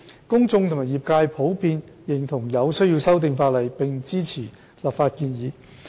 公眾和業界普遍認同有需要修訂法例，並支持立法建議。